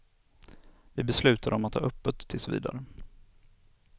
Vi beslutade om att ha öppet tills vidare.